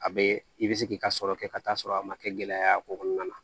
A bɛ i bɛ se k'i ka sɔrɔ kɛ ka t'a sɔrɔ a ma kɛ gɛlɛya o kɔnɔna na